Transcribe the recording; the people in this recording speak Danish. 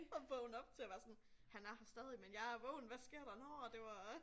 At vågne op til og være sådan han er her stadig men jeg er vågen hvad sker der nåh det var